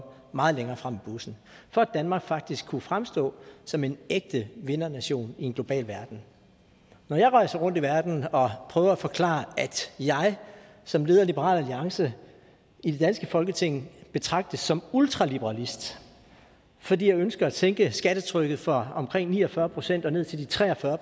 meget længere frem i bussen for at danmark faktisk kan fremstå som en ægte vindernation i en global verden når jeg rejser rundt i verden og prøver at forklare at jeg som leder af liberal alliance i det danske folketing betragtes som ultraliberalist fordi jeg ønsker at sænke skattetrykket fra omkring ni og fyrre procent og ned til tre og fyrre